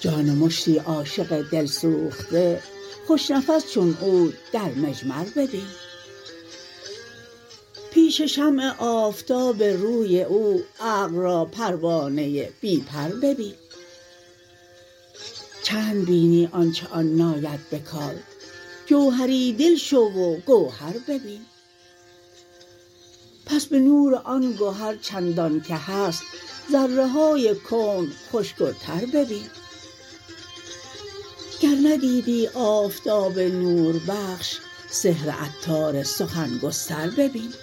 جان مشتی عاشق دل سوخته خوش نفس چون عود در مجمر ببین پیش شمع آفتاب روی او عقل را پروانه بی پر ببین چند بینی آنچه آن ناید به کار جوهری دل شو و گوهر ببین پس به نور آن گهر چندان که هست ذره های کون خشک و تر ببین گر ندیدی آفتاب نور بخش سحر عطار سخن گستر ببین